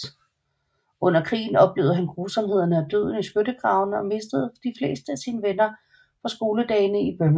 Under krigen oplevede han grusomhederne og døden i skyttegravene og mistede de fleste af sine venner fra skoledagene i Birmingham